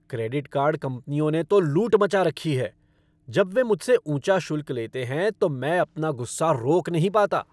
Credit card कंपनियों ने तो लूट मचा रखी हैं। जब वे मुझसे ऊंचा शुल्क लेते हैं तो मैं अपना गुस्सा रोक नहीं पाता।